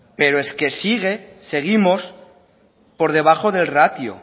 pero es que sigue seguimos por debajo del ratio